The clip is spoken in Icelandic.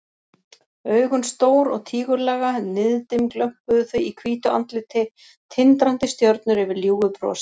Augun stór og tígullaga, niðdimm glömpuðu þau í hvítu andliti, tindrandi stjörnur yfir ljúfu brosi.